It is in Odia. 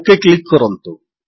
ଓକ୍ କ୍ଲିକ୍ କରନ୍ତୁ